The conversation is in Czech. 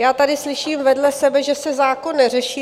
Já tady slyším vedle sebe, že se zákon neřeší.